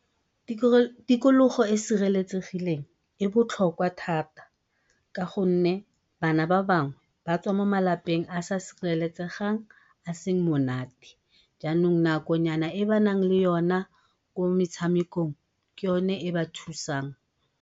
tirokologo e e sireletsegileng e botlhokwa thata ka gonne ba tswa mo malapeng a a sa sireletsegang a seng monate yanong nakonyana e ba naleng yona ko metshamekong ke yone e ba thusang.